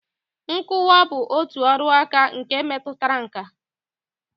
Nkụkwa bụ otu ọrụaka nke metụtara nkà